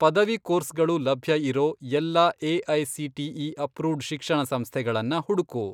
ಪದವಿ ಕೋರ್ಸ್ಗಳು ಲಭ್ಯ ಇರೋ ಎಲ್ಲಾ ಎ.ಐ.ಸಿ.ಟಿ.ಇ. ಅಪ್ರೂವ್ಡ್ ಶಿಕ್ಷಣಸಂಸ್ಥೆಗಳನ್ನ ಹುಡ್ಕು.